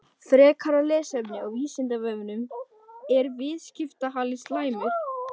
Frekara lesefni á Vísindavefnum: Er viðskiptahalli slæmur?